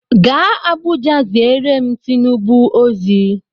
Gaa Abuja ziere m Tinubu ozi!